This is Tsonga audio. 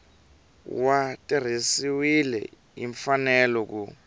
wu tirhisiwile hi mfanelo ku